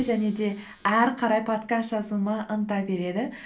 және де ары қарай подкаст жазуыма ынта береді